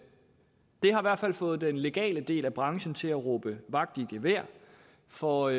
har i hvert fald fået den legale del af branchen til at råbe vagt i gevær for